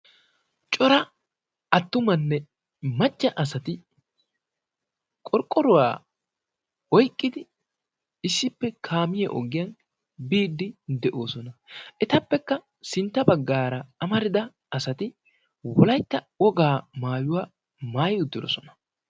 coraa attumanne macca asati qorqqoruwaa oyqqidi issippe kaamiya ogiyan biidi de'oosona, etappe sintta baggaara amarida asati wolaytta wogaa maayuwaa maayi uttidoosona.